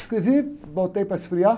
Escrevi, voltei para esfriar.